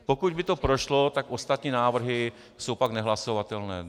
Pokud by to prošlo, tak ostatní návrhy jsou pak nehlasovatelné.